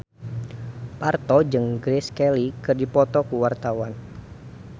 Parto jeung Grace Kelly keur dipoto ku wartawan